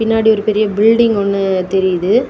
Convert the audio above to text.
பின்னாடி ஒரு பெரிய பில்டிங் ஒன்னு தெரியுது.